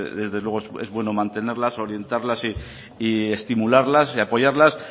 desde luego es bueno mantenerlas orientarlas y estimularlas y apoyarlas